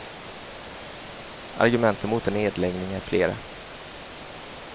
Argumenten mot en nedläggning är flera.